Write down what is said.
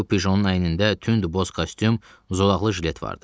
Bu pjonun əynində tünd boz kostyum, zolaqlı jilet vardı.